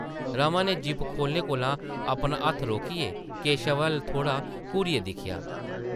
रमा नै ज़िप खोह्ल्लने कोला अपना हत्थ रोकियै , केशव अʼल्ल थोह्ड़ा घूरियै दिक्खेआ ।